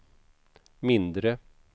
mindre